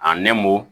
A nɛmu